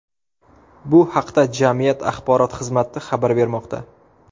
Bu haqda jamiyat axborot xizmati xabar bermoqda.